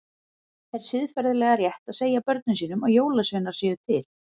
Er siðferðilega rétt að segja börnum sínum að jólasveinar séu til?